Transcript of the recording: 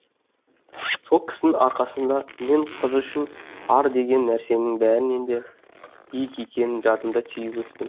сол кісінің арқасында мен қыз үшін ар деген нәрсенің бәрінен де биік екенін жадыма түйіп өстім